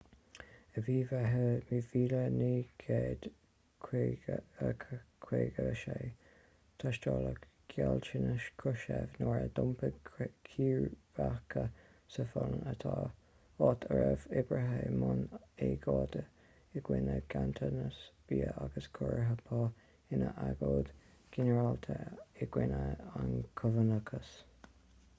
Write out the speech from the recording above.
i mí an mheithimh 1956 tástáladh gealltanais krushchev nuair a d'iompaigh círéibeacha sa pholainn áit a raibh oibrithe i mbun agóide i gcoinne ganntanas bia agus ciorruithe pá ina agóid ghinearálta i gcoinne an chumannachais